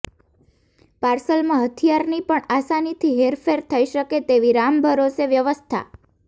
પાર્સલમાં હથિયારની પણ આસાનીથી હેરફેર થઈ શકે તેવી રામભરોસે વ્યવસ્થા